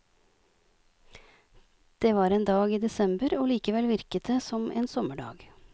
Det var en dag i desember og likevel virket det som en sommerdag.